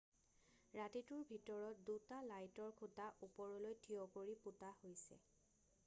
ৰাতিটোৰ ভিতৰত 2টা লাইটৰ খুটা ওপৰলৈ থিয় কৰি পোতা হৈছে